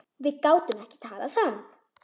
Við gátum ekki talað saman.